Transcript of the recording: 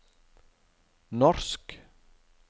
norsk